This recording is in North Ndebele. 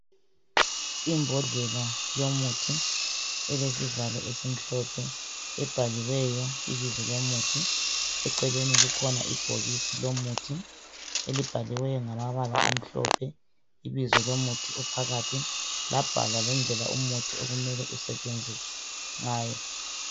Imbodlela yomuthi, elesivalo esimhlophe. Ebhaliweyo ibizo lomuthi. Eceleni kukhona ibhokisi lomuthi. Elibhaliweyo ngamabala amhlophe, ibizo lomuthi ophakathi. Labhala lendlela umuthi okumele usetshenzuswe ngayo.